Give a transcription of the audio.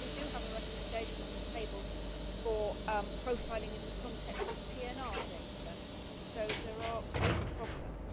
After all, we do have a recommendation on the table for profiling in the context of PNR data, so there are special problems.